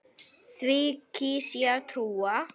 Því kýs ég að trúa.